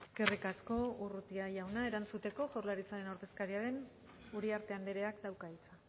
eskerrik asko urrutia jauna erantzuteko jaurlaritzaren ordezkaria den uriarte andreak dauka hitza